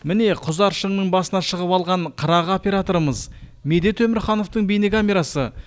міне құзар шыңның басына шығып алған қырағы операторымыз медет өмірхановтың бейнекамерасы